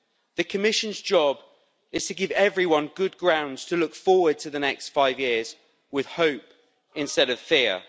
The Commission's job is to give everyone good grounds to look forward to the next five years with hope instead of fear.